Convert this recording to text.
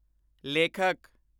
ਲੇਖਕ